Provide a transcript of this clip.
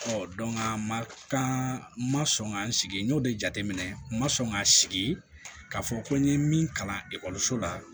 a ma kan ma sɔn ka n sigi n y'o de jateminɛ n ma sɔn k'a sigi ka fɔ ko n ye min kalan ekɔliso la